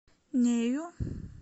нею